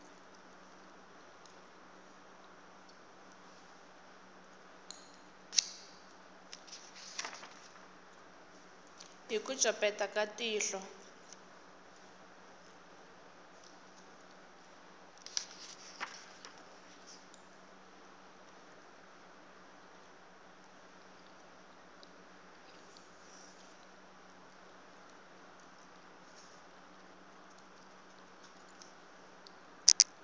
hi ku copeta ka tihlo